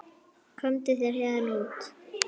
Komdu þér héðan út.